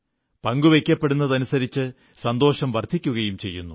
പങ്കുവയ്ക്കപ്പെടുന്നതനുസരിച്ച് സന്തോഷം വർധിക്കയും ചെയ്യുന്നു